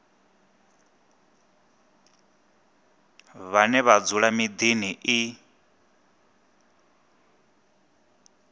vhane vha dzula miḓini i